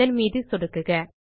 அதன் மீது சொடுக்குக